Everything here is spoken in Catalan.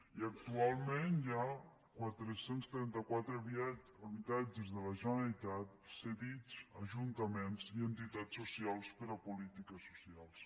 i actualment hi ha quatre cents i trenta quatre habitatges de la generalitat cedits a ajuntaments i a entitats socials per a polítiques socials